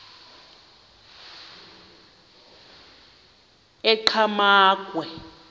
enqgamakhwe